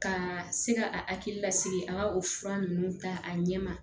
Ka se ka akili lasigi a ka o fura ninnu ta a ɲɛ ma